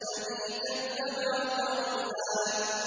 الَّذِي كَذَّبَ وَتَوَلَّىٰ